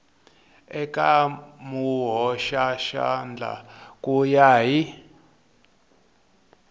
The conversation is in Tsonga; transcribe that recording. eka muhoxaxandla ku ya hi